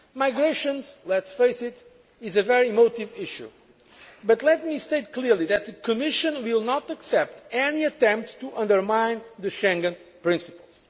Migration, let us face it, is a very emotive issue. But let me state clearly that the Commission will not accept any attempts to undermine the Schengen principles.